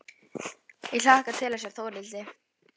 Ég hlakka til að sjá Þórhildi.